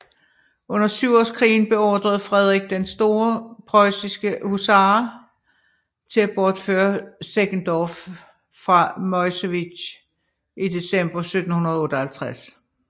Under Syvårskrigen beordrede Frederik den Store preussiske hussarer til at bortføre Seckendorff fra Meuselwitz i december 1758